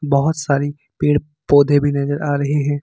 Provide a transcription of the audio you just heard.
बहोत सारी पेड़ पौधे भी नजर आ रहे हैं।